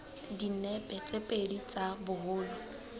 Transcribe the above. dinepe tse pedi tsa boholo